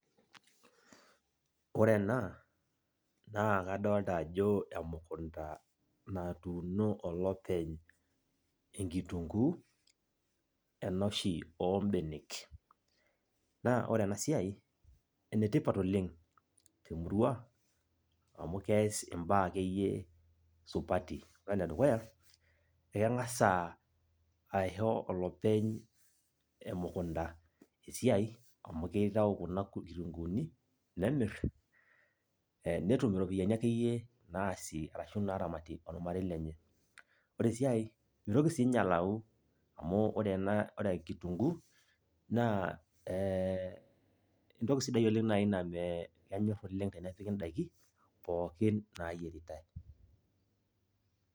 Ore ena, naa kadalta ajo emukunda natuuno olopeny enkitunkuu, enoshi obenek. Naa ore enasiai, enetipat oleng' temurua, amu kees imbaa akeyie supati. Ore enedukuya, ekemg'asa aisho olopeny emukunda esiai, amu kitau kuna kitunkuuni, nemir, netum iropiyiani akeyie naasie arashu naramatie ormarei lenye. Ore si ai, mitoki sinye alau, amu ore ena, ore kitunkuu, naa eh entoki sidai oleng nai na kenyor oleng tenepiki daiki, pookin nayieritai.